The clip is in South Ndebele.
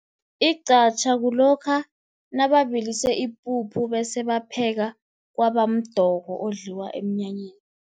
Iqhatjha kulokha nababilise ipuphu, bese bapheka kwabamdoko odliwa emnyanyeni.